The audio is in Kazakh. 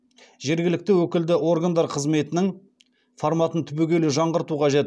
жергілікті өкілді органдар қызметінің форматын түбегейлі жаңғырту қажет